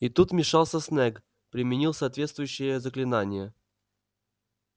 и тут вмешался снегг применил соответствующее заклинание